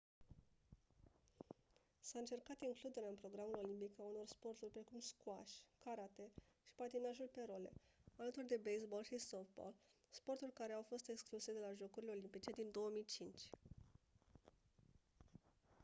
s-a încercat includerea în programul olimpic a unor sporturi precum squash karate și patinajul pe role alături de baseball și softball sporturi care au fost excluse de la jocurile olimpice din 2005